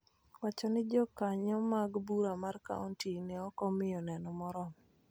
wacho ni Jokanyo mag Bura mar Kaonti ne ok omiyo neno moromo.